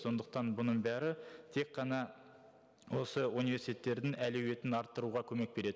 сондықтан бұның бәрі тек қана осы университеттердің әлеуетін арттыруға көмек береді